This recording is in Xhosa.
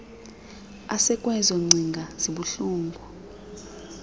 esekwezo ngcinga zibuhlungu